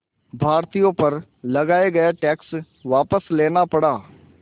भारतीयों पर लगाया गया टैक्स वापस लेना पड़ा